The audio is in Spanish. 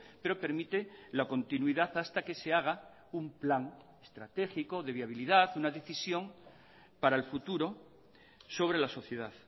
pero permite la continuidad hasta que se haga un plan estratégico de viabilidad una decisión para el futuro sobre la sociedad